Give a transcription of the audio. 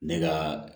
Ne ka